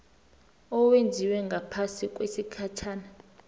owenziwe ngaphasi kwesigatjana